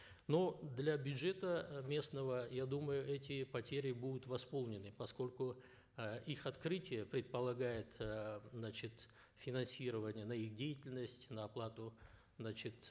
но для бюджета местного я думаю эти потери будут восполнены поскольку э их открытие предполагает э значит финансирование на их деятельность на оплату значит